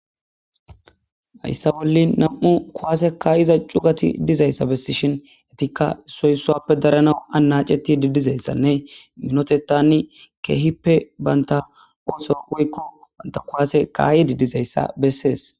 Hayisa bolin nam'u cugati dizayisa besishin etika issoy issuappe daranawu anachetidi dizaysan minotetani kehippe banta osoa woyikko banta kuasiya kaidi dizayisa beses.